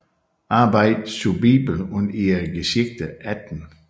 Arbeiten zur Bibel und ihrer Geschichte 18